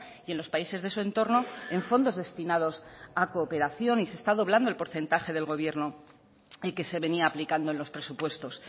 y en los países de su entorno en fondos destinados a cooperación y se está doblando el porcentaje del gobierno y que se venía aplicando en los presupuestos